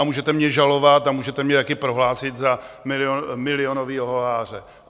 A můžete mě žalovat a můžete mě také prohlásit za milionového lháře.